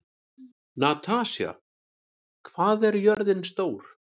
Natasja, hvað er jörðin stór?